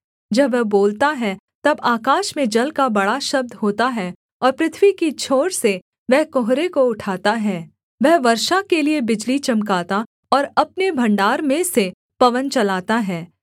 जब वह बोलता है तब आकाश में जल का बड़ा शब्द होता है और पृथ्वी की छोर से वह कुहरे को उठाता है वह वर्षा के लिये बिजली चमकाता और अपने भण्डार में से पवन चलाता है